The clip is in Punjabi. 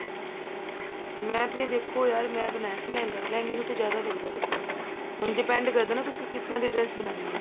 ਮੈਂ ਤੇ ਦੇਖੋ ਯਾਰ ਮੈਂ ਬਣਾਇਆ ਸੀ ਲਹਿੰਗਾ ਲਹਿੰਗੇ ਨੂੰ ਤਾਂ ਜਿਆਦਾ ਲੱਗਦਾ ਕੱਪੜਾ ਹੁਣ depend ਕਰਦਾ ਤੁਸੀਂ ਕਿਸ ਤਰ੍ਹਾਂ ਦੀ dress ਬਣਾਉਣੀ ਆ